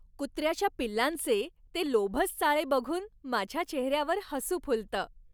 कुत्र्याच्या पिल्लांचे ते लोभस चाळे बघून माझ्या चेहऱ्यावर हसू फुलतं.